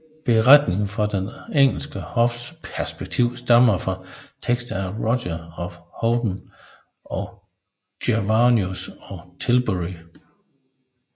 Beretninger fra det engelske hofs perspektiv stammer fra tekster af Roger af Howden og Gervasius af Tilbury